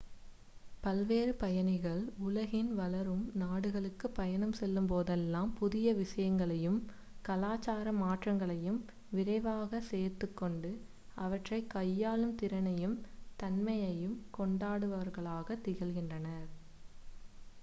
பல்வேறு பயணிகள் உலகின் வளரும் நாடுகளுக்கு பயணம் செல்லும் போதெல்லாம் புதிய விசயங்களையும் கலாச்சார மாற்றங்களையும் விரைவாக சேர்த்துக்கொண்டு அவற்றை கையாளும் திறனையும் தன்மையையும் கொண்டவர்களாகத் திகழ்கின்றனர்